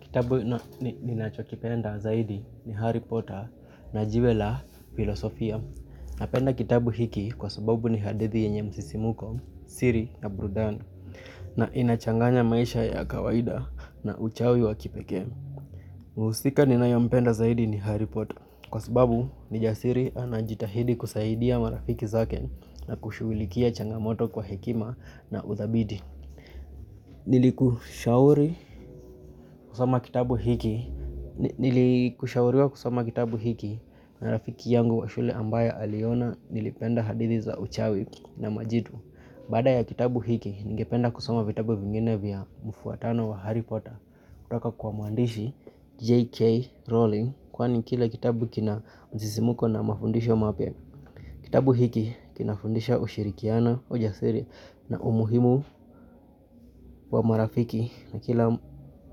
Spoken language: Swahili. Kitabu ninacho kipenda zaidi ni Harry Potter na jiwe la Filosofia. Napenda kitabu hiki kwa sababu ni hadithi yenye msisimuko, siri na burudani na inachanganya maisha ya kawaida na uchawi wa kipekee. Muhusika ninayo mpenda zaidi ni Harry Potter kwa sababu ni jasiri anajitahidi kusaidia marafiki zake na kushughulikia changamoto kwa hekima na uthabiti. Nili kushauriwa kusoma kitabu hiki na rafiki yangu wa shule ambaye aliona nilipenda hadithi za uchawi na majitu. Baada ya kitabu hiki ningependa kusoma vitabu vingine vya mfuatano wa harry Potter. Kutoka kwa mwandishi J.K. Rawling kwani kila kitabu kina msisimuko na mafundisho mapya. Kitabu hiki kinafundisha ushirikiano, ujasiri na umuhimu wa marafiki na kila